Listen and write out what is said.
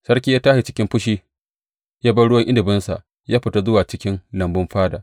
Sarki ya tashi cikin fushi, ya bar ruwan inabinsa, ya fita zuwa cikin lambun fada.